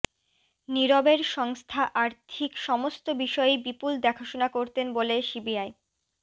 নীরবের সংস্থা আর্থিক সমস্ত বিষয়ই বিপুল দেখাশোনা করতেন বলে সিবিআই